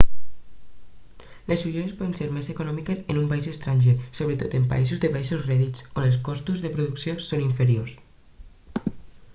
les ulleres poden ser més econòmiques en un país estranger sobretot en països de baixos rèdits on els costos de producció són inferiors